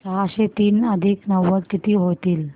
सहाशे तीन अधिक नव्वद किती होतील